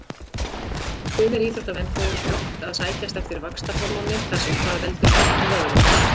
Sumir íþróttamenn fóru brátt að sækjast eftir vaxtarhormóni þar sem það veldur stækkun vöðva.